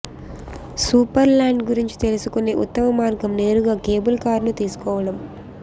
Superland గురించి తెలుసుకునే ఉత్తమ మార్గం నేరుగా కేబుల్ కారును తీసుకోవడం